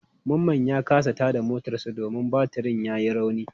Mamman ya kasa tada motarsa ​​domin batirin yayi rauni.